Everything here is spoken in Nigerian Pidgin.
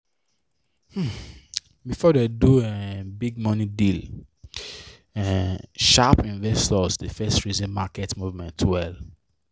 um before dem do um big money deal um sharp investors dey first reason market movement well.